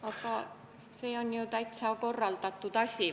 Aga see on ju täitsa korraldatud asi.